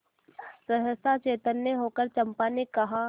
सहसा चैतन्य होकर चंपा ने कहा